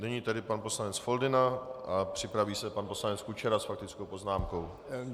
Nyní tedy pan poslanec Foldyna a připraví se pan poslanec Kučera s faktickou poznámkou.